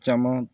Caman